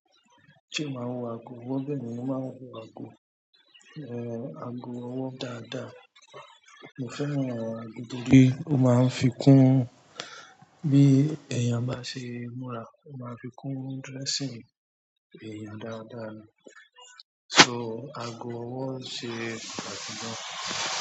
Ṣé o máa ń wọ aago ọwọ? Bẹ́ẹ̀ni, mo máa ń wọ aago, aago ọwọ́ dáadáa. Mo fẹ́ràn àwọn aago torí ó máa ń fi kún bí ẹyàn bá ṣe múra. Ó máa ń fi kún dressing ẹ̀yàn dáadáa ni. So aago ọwọ́ ṣe pàtàkì gan.